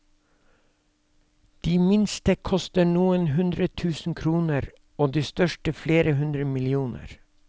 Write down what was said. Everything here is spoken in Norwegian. De minste koster noen hundre tusen kroner og de største flere hundre millioner.